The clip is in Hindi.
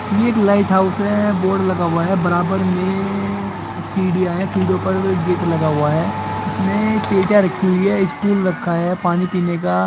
यह एक लाइट हाउस है बोर्ड लगा हुआ है बराबर मे सीडीया है सीडिओ पर गेट लगा हुआ है इसमे पेटिया रखी हुई है इस टूल रखा हुआ है पानी पीने का।